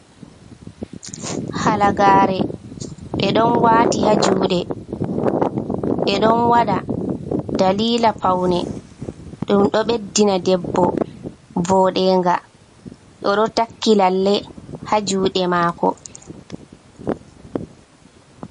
Halagare be don wati ha jude, be don wada dalila paune, dum do beddina debbo vodega, odo takki lalle haa jude mako.